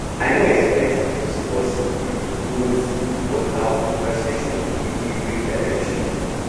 i no expect to discuss um goals but our conversation give me real direction